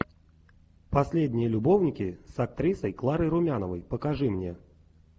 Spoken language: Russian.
последние любовники с актрисой кларой румяновой покажи мне